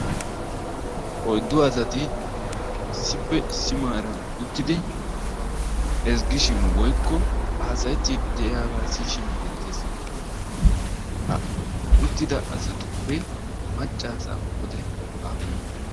Oyddu asati issippe issi maaran uttidi ezggishin woykko haasayettiiddi diyabaa siyishin beettes. Ha uttida asatuppe macca asaa qoodayi aappunee?